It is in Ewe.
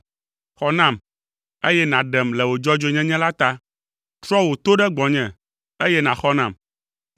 Xɔ nam, eye nàɖem le wò dzɔdzɔenyenye la ta; trɔ wò to ɖe gbɔnye, eye nàxɔ nam.